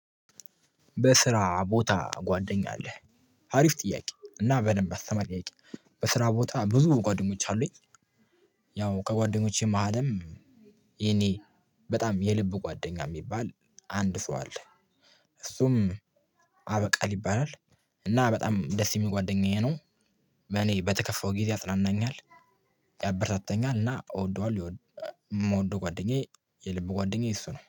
በስራ ቦታ ጓደኛ አለ? ሀሪፍ ጥያ፤ እና በደንብ አስተማሪ ጥያቄ በስራ ቦታ ብዙ ጓደኞች አሉኝ። ያው ከጓደኞቼ መሃሌም የኔ በጣም የልብ ጓደኛ የሚባል አንድ ሰው አለ። እሱም አበቃል ይባላ። እና በጣም ደስ የሚል ጓደኛዬ ነው። እኔ በተከፋው ጊዜ አጽናናኛል፣ ያበርታታኛል እና እወደዋለሁ ይወ የምወደው ጓደኛዬ የልብ ጓደኛዬ እሱ ነው።